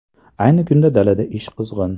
Ayni kunda dalada ish qizg‘in.